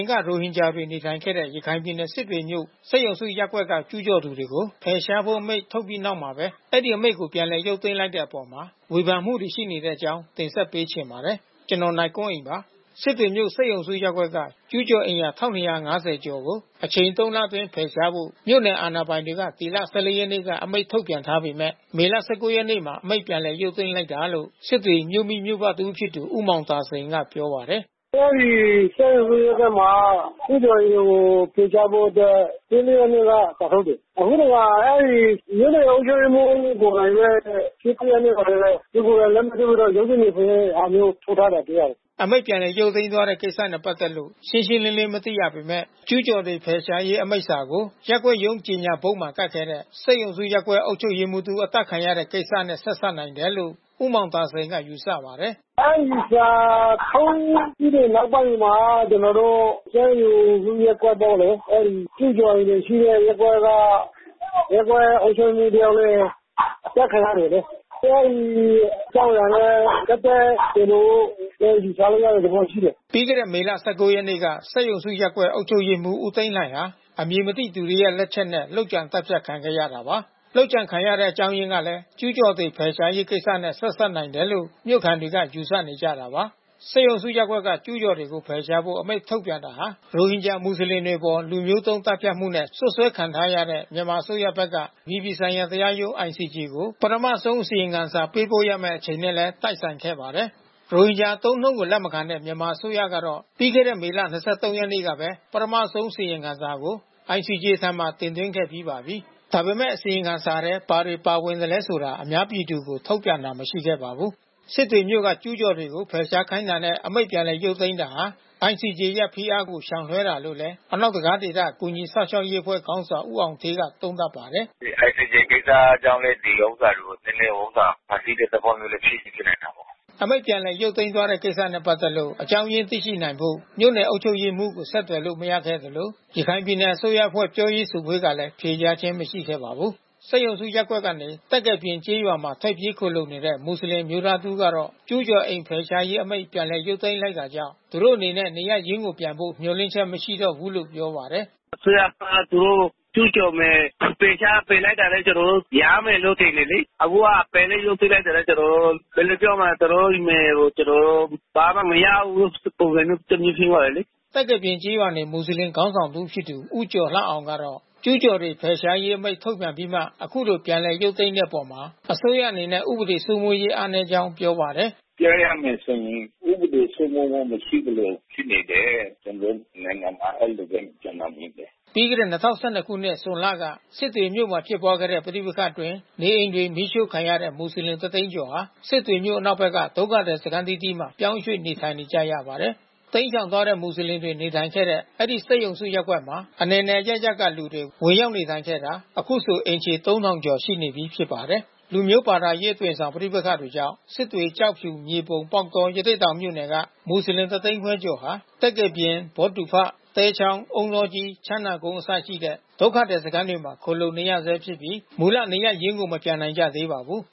်က ရိုဟင်ဂျာတွေ နေထိုင်ခဲ့တဲ့ ရခိုင်ပြည်နယ် စစ်တွေမြို့ စက်ရုံစုရပ်ကွက်က ကျူးကျော်တွေကို ဖယ်ရှားဖို့ အမိန့် ထုတ်ပြီးနောက်မှပဲ အဲဒီအမိန့်ကို ပြန်ရုပ်သိမ်းလိုက်တဲ့အပေါ်ဝေဖန်မှုတွေ ရှိနေတဲ့အကြောင်းကို ဗွီအိုအေမြန်မာပိုင်း သတင်းထောက် ကိုနိုင်ကွန်းအိန်က တင်ဆက်ပေးချင်ပါတယ်။ စစ်တွေမြို့ စက်ရုံစုရပ်ကွက်က ကျူးကျော်အိမ်ယာ ၁,၂၅၀ ကျော်ကို အချိန်သုံးလအတွင်း ဖယ်ရှားဖို့ မြို့နယ်အာဏာ ပိုင်တွေက ဒီလ ၁၄ ရက်နေ့က အမိန့်ထုတ်ပြန်ထားပေမဲ့ မေလ ၁၉ ရက်နေ့မှာ အမိန့်ပြန်ရုပ်သိမ်းလိုက်တယ်လို့ စစ်တွေမြို့မိမြို့ဖတဦးဖြစ်သူ ဦးမောင်သာစိန်ကပြောပါတယ်။ “အဲဒီစက်ရုံစုရပ်ကွက်မှာ ကျူးကျော်တွေကို ဖယ်ရှားဖို့အတွက် ၁၄ ရက်နေ့က စာထုတ်တယ်။ အခုတခါ အဲဒီ မြို့နယ် အုပ်ချုပ်ရေးမှူးကိုယ်တိုင်ပဲ ၁၉ ရက်နေ့မှာပဲ သူကိုယ်တိုင်လက်မှတ်ထိုးပြီးတော့ ရုံးထုတ် တယ်ဆိုတဲ့ဟာမျိုး ထုတ် ထားတာတွေ့ရတယ်။” အမိန့် ပြန်လည် ရုပ်သိမ်းသွားတဲ့ကိစ္စနဲ့ ပတ်သက်လို့ ရှင်းရှင်းလင်းလင်းမသိရပေမဲ့ ကျူးကျော်တွေ ဖယ်ရှားရေး အမိန့်စာကို ရပ်ကွက်ရုံးကြော်ငြာဘုတ်မှာ ကပ်ခဲ့တဲ့၊ စက်ရုံစုရပ်ကွက် အုပ်ချုပ်ရေးမှူးတဦး အသတ်ခံရတဲ့ ကိစ္စနဲ့ ဆက်စပ်နိုင်တယ်လို့ ဦးမောင်သာစိန်က ယူဆပါတယ်။ “အဲဒီစာထုတ်ပြီးတဲ့နောက်ပိုင်းမှာ ကျနော်တို့ စက်ရုံစုရပ်ကွက်ကလေ အဲဒီကျူးကျော်အိမ်တွေရှိတဲ့ ရပ်ကွက်က ရပ်ကွက်အုပ်ချုပ်ရေးမှူးတယောက်လည်း အသတ်ခံရတယ်လေ။ အဲဒီအကြောင်းအရာနဲ့ ပတ်သက်တယ်လို့ ယူဆရတဲ့ သဘောရှိတယ်။” ပြီးခဲ့တဲ့မေလ ၁၉ ရက်နေ့က စက်ရုံစုရပ်ကွက် အုပ်ချုပ်ရေးမှူးဦးသိန်းလှှိုင်ဟာ အမည်မသိသူတွေရဲ့ လက်ချက်နဲ့ လုပ်ကြံသတ်ဖြတ်ခံခဲ့ရတာပါ။ လုပ်ကြံခံရတဲ့ အကြောင်းအရင်းကလည်း ကျူးကျော်တွေ ဖယ်ရှားရေးကိစ္စနဲ့ ဆက်စပ်နိုင်တယ်လို့ မြို့ခံတွေကယူဆနေကြတာပါ။ စက်ရုံစုရပ်ကွက်က ကျူးကျော်တွေကို ဖယ်ရှားဖို့ အမိန့်ထုတ်ပြန်တာဟာ ရိုဟင်ဂျာမူဆလင်တွေအပေါ် လူမျိုးတုံး သတ်ဖြတ်မှုနဲ့ စွပ်စွဲခံထားရတဲ့ မြန်မာအစိုးရဘက်က အပြည်ပြည်ဆိုင်ရာတရားရုံး ICJ ကို မကြာခင် ပထမဆုံး အစီရင်ခံစာ ပေးပို့ရမယ့်အချိန်နဲ့လည်း တိုက်ဆိုင်ခဲ့ပါတယ်။ ရိုဟင်ဂျာအသုံးအနှုန်းကို လက်မခံတဲ့ မြန်မာအစိုးရကတော့ ပြီးခဲ့တဲ့ မေလ ၂၃ ရက်နေ့ကပဲ ပထမဆုံးအစီရင်ခံစာကို ICJ ထံ တင်သွင်းခဲ့ပြီးပါပြီ။ ဒါပေမဲ့ အစီရင်ခံထဲ ဘာတွေပါဝင်သလည်းဆိုတာ အများပြည်သူကို ထုတ်ပြန်တာမရှိပါဘူး။ စစ်တွေမြို့က ကျူးကျော်တွေကို ဖယ်ရှားခိုင်းတာနဲ့ အမိန့်ပြန်ရုပ်သိမ်းတာဟာ ICJ ရဲ့ဖိအားကို ရှောင်လွှဲတာလို့လည်း အနောက်တံခါးဒေသ ကူညီစောင့်ရှောက်ရေးအဖွဲ့ ခေါင်းဆောင်ဦးအောင်ဌေးက သုံးသပ်ပါတယ်။ “ဒီ ICJ ကိစ္စကြောင့်လည်း ဒီဥစ္စာတွေကို နည်းနည်းဖန်တီးတဲ့သဘောလည်း ဖြစ်ချင်ဖြစ်နိုင်တာပေါ့။” အမိန့် ပြန်လည်ရုပ်သိမ်းသွားတဲ့ကိစ္စနဲ့ ပတ်သက်လို့ အကြောင်းရင်းသိနိုင်ဖို့ မြို့နယ်အုပ်ချုပ်ရေးမှူးကို ဆက်သွယ်လို့ မရခဲ့သလို ရခိုင်ပြည်နယ်အစိုးရအဖွဲ့ ပြောရေးဆိုခွင့်ကလည်း ဖြေကြားခြင်း မရှိခဲ့ပါဘူး။ စက်ရုံစုရပ်ကွက်ကနေ သက္ကယ်ပြင်ကျေးရွာမှာ ထွက်ပြေးခိုလှုံနေရတဲ့ မူဆလင်အမျိုးသားတဦးကတော့ ကျူးကျော် အိမ်ဖယ်ရှားရေးအမိန့် ပြန်ရုပ်သိမ်းလိုက်တာကြောင့် သူတို့အနေနဲ့ နေရပ်ရင်းကိုပြန်ဖို့ မျှော်လင့်ချက်မရှိတော့ဘူးလို့ပြောပါတယ်။ “အစိုးရက သူတို့ကျူးကျော်မယ်၊ ဖယ်ရှားဖယ်လိုက်တာနဲ့ ကျနော်တို့ ပြန်ရမယ်လို့ထင်တယ်လေ။ အခုက ဖယ်မိန့် ရုပ်သိမ်းလိုက်တာနဲ့ ကျနော်တို့နယ်ကို ကျနော်တို့ ဘာမှမရဘူးပုံစံမျိုး တမျိုးဖြစ်သွားတယ်လေ။” သက္ကယ်ပြင်ကျေးရွာနေ မူဆလင်ခေါင်းဆောင်တစ်ဦးဖြစ်သူ ဦးကျော်လှအောင်ကတော့ ကျူးကျော်တွေ ဖယ်ရှားရေး အမိန့်ထုတ်ပြန်ပြီး အခုလိုပြန်ရုပ်သိမ်းတဲ့အပေါ် အစိုးရအနေနဲ့ ဥပဒေစိုးမိုးရေးအားနည်းကြောင်းပြောပါတယ်။ “ပြောရမယ်ဆိုရင် ဥပဒေစိုးမိုးမှု မရှိသလို ဖြစ်နေတယ်။ ကျနော်တို့နိုင်ငံမှာ အဲဒီလိုပဲကျနော်မြင်တယ်။” ပြီးခဲ့တဲ့၂၀၁၂ ခုနှစ် ဇွန်လက စစ်တွေမြို့မှာဖြစ်ပွားခဲ့တဲ့ ပဋိပက္ခအတွင်း နေအိမ်တွေ မီးရှို့ခံခဲ့ရတဲ့ မူစလင် ၁၀၀,၀၀၀ ကျော်ဟာ စစ်တွေမြို့ အနောက်ဘက်က ဒုက္ခသည်စခန်းအသီးသီးမှာ ပြောင်းရွှေ့နေထိုင်နေကြရပါတယ်။ တိမ်းရှောင်သွားတဲ့ မွတ်စလင်တွေ နေထိုင်ခဲ့တဲ့ အဲဒီစက်ရုံစုရပ်ကွက်မှာ အနယ်နယ်အရပ်ရပ်က လူတွေ ဝင်ရောက်နေထိုင်ခဲ့တာ အခုဆိုအိမ်ခြေ ၃,၀၀၀ ကျော်နေပြီးဖြစ်ပါတယ်။ လူမျိုး ဘာသာရေးအသွင်ဆောင် ပဋိပက္ခတွေကြောင့် စစ်တွေ ကျောက်ဖြူ မြေပုံ ပေါက်တော ရသေ့တောင်မြို့နယ်က မူဆလင် ၁၅၀,၀၀၀ ကျော်ဟာ သက္ကေပြင် ဘောဒူဖ သဲချောင်း အုန်းတောကြီး ချမ်းသာကုန်းအစရှိတဲ့ ဒုက္ခသည်စခန်းတွေမှာ ခိုလှုံနေရဆဲဖြစ်ပြီး မူလနေရပ်ရင်းကို မပြန်နိုင်ကြသေးပါဘူး